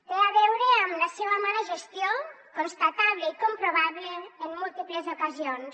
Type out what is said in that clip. té a veure amb la seva mala gestió constatable i comprovable en múltiples ocasions